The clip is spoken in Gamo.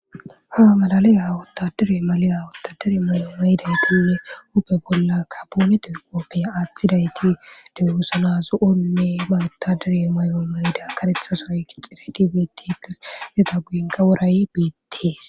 ha malaliya wottadiri maliya wotadiri may7o maydaytinne huupe bolla ka boonetoy qoopfeya aaththidayti dewusanazu7onne mayutadire may7o mayda karethasoay kixxidayti beetiites leda guyenka woray beettees